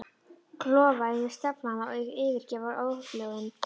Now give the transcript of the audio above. Klofa yfir staflana og yfirgefa óhljóðin.